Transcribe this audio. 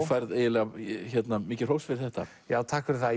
færð eiginlega mikið hrós fyrir þetta takk fyrir það